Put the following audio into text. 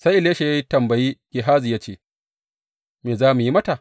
Sai Elisha ya tambayi Gehazi ya ce, Me za mu yi mata?